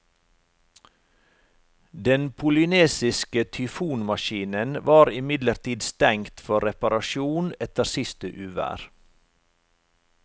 Den polynesiske tyfonmaskinen var imidlertid stengt for reparasjon etter siste uvær.